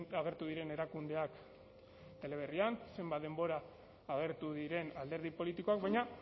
agertu diren erakundeak teleberrian zenbat denbora agertu diren alderdi politikoak baina